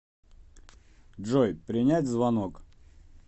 джой принять звонок